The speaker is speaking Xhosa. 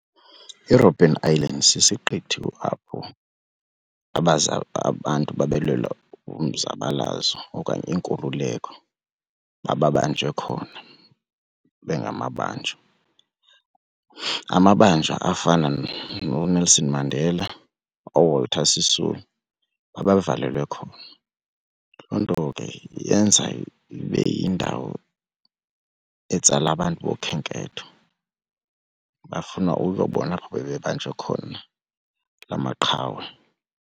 IRobben Island sisiqithi apho abantu babelwela umzabalazo okanye inkululeko babebanjwe khona, bengamabanjwa. Amabanjwa afana nooNelson Mandela ooWalter Sisulu babevalelwo khona, loo nto ke yenza ibe yindawo etsala abantu bokhenketho bafuna uzobona apho bebebanjwe khona la maqhawe.